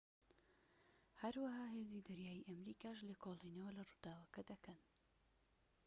هەروەها هێزی دەریایی ئەمریکاش لێکۆڵینەوە لە ڕووداوەکە دەکەن